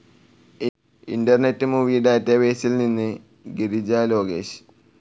internet movie ഡാറ്റാബേസിൽ നിന്ന് ഗിരിജ ലോകേഷ്